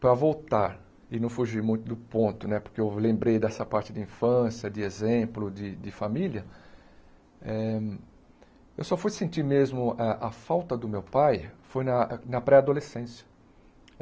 Para voltar, e não fugir muito do ponto né, porque eu lembrei dessa parte de infância, de exemplo, de de família, eh eu só fui sentir mesmo eh a falta do meu pai foi na na pré-adolescência.